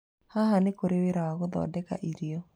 Haha, nĩ kũrĩ wĩra wa gũthondeka irio.